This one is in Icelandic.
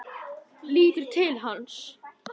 Lítur til hans.